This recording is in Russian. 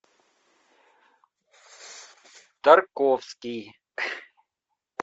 тарковский